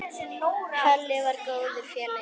Halli var góður félagi.